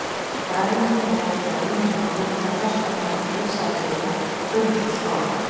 Fræðimenn eru ekki á einu máli um það hvers vegna risaeðlurnar urðu svona stórar.